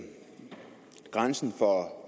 grænsen for